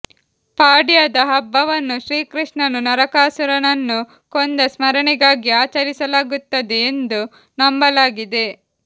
ಪಾಡ್ಯದ ಹಬ್ಬವನ್ನು ಶ್ರೀಕೃಷ್ಣನು ನರಕಾಸುರನನ್ನು ಕೊಂದ ಸ್ಮರಣೆಗಾಗಿ ಆಚರಿಸಲಾಗುತ್ತದೆ ಎಂದು ನಂಬಲಾಗಿದೆ